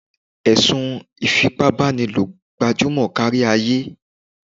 Ẹ̀sùn ìfipábánilò gbajúmọ̀ kárí ayé.